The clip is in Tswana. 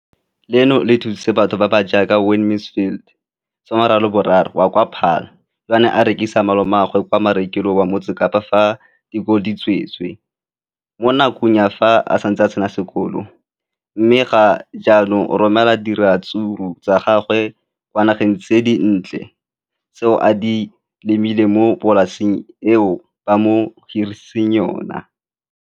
Leno le thusitse batho ba ba jaaka Wayne Mansfield, 33, wa kwa Paarl, yo a neng a rekisetsa malomagwe kwa Marakeng wa Motsekapa fa dikolo di tswaletse, mo nakong ya fa a ne a santse a tsena sekolo, mme ga jaanong o romela diratsuru tsa gagwe kwa dinageng tsa kwa ntle tseo a di lemileng mo polaseng eo ba mo hiriseditseng yona.